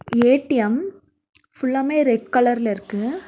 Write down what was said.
ATM ஃபுல்லாமே red கலர்ல இருக்கு.